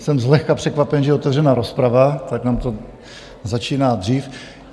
Jsem zlehka překvapen, že je otevřená rozprava, tak nám to začíná dřív.